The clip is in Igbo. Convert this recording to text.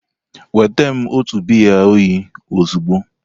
Weta m otu biya oyi ozugbo!